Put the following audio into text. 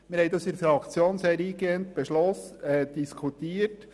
Wir haben den Vorstoss in der Fraktion sehr eingehend diskutiert.